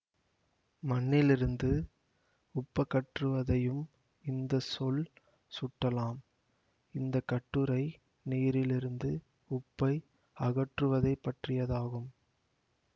மண்ணிலிருந்து உப்பகற்றுவதையும் இந்த சொல் சுட்டலாம் இந்த கட்டுரை நீரிலிருந்து உப்பை அகற்றுவதைப் பற்றியது ஆகும்